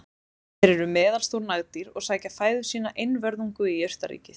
þeir eru meðalstór nagdýr og sækja fæðu sína einvörðungu í jurtaríkið